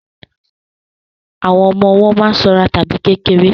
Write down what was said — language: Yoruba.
Àwọn ọmọ ọwọ́ má ń sanra tàbí kéré